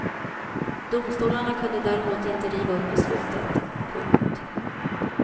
Domstolarna kunde däremot inte riva upp beslutet. punkt